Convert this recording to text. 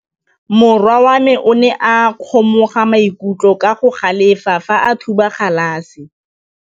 Morwa wa me o ne a kgomoga maikutlo ka go galefa fa a thuba galase.